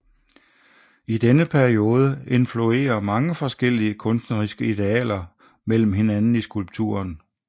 I denne periode influerer mange forskellige kunstneriske idealer imellem hinanden i skulpturen